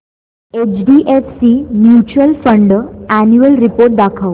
HDFC mutual fund annual report दाखव